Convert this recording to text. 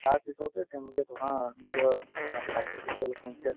তাৰপিছতে তেওঁলোকে ধৰা নিজৰ অ স্বাস্থ্যৰ প্ৰতি অলপ conscious